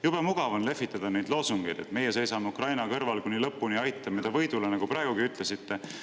Jube mugav on lehvitada neid loosungeid, et me seisame Ukraina kõrval kuni lõpuni ja aitame ta võidule, nagu te praegugi ütlesite.